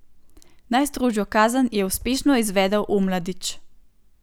Najstrožjo kazen je uspešno izvedel Omladič.